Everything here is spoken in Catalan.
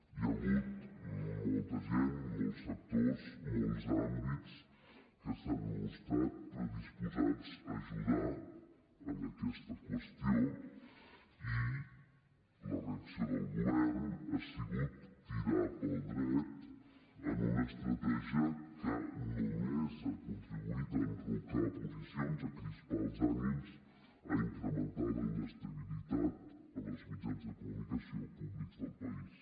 hi ha hagut molta gent molts sectors molts àmbits que s’han mostrat predisposats a ajudar en aquesta qüestió i la reacció del govern ha sigut tirar pel dret en una estratègia que només ha contribuït a enrocar posicions a crispar els ànims a incrementar la inestabilitat en els mitjans de comunicació públics del país